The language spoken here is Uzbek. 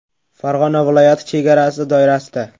Farg‘ona viloyati chegarasi doirasida.